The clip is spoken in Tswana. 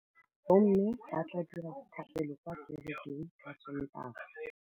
Bommê ba tla dira dithapêlô kwa kerekeng ka Sontaga.